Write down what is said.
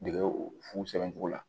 Dege futogo la